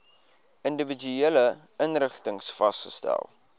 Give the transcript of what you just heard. individuele inrigtings vasgestel